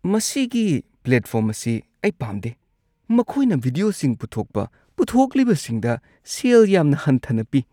ꯃꯁꯤꯒꯤ ꯄ꯭ꯂꯦꯠꯐꯣꯔꯝ ꯑꯁꯤ ꯑꯩ ꯄꯥꯝꯗꯦ꯫ ꯃꯈꯣꯏꯅ ꯚꯤꯗꯤꯑꯣꯁꯤꯡ ꯄꯨꯊꯣꯛꯄ ꯄꯨꯊꯣꯛꯂꯤꯕꯁꯤꯡꯗ ꯁꯦꯜ ꯌꯥꯝꯅ ꯍꯟꯊꯅ ꯄꯤ꯫